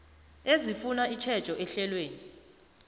ezifuna itjhejo ehlelweni